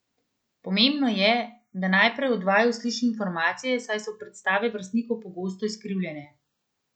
Pomembno je, da najprej od vaju sliši informacije, saj so predstave vrstnikov pogosto izkrivljene.